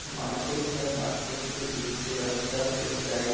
Market है। Market के बीच से रास्ता किस साइड --